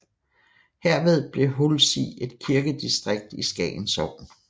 Herved blev Hulsig et kirkedistrikt i Skagen Sogn